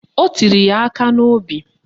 O tiri ya aka n'obi